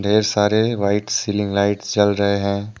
ये सारे white ceiling lights जल रहे हैं।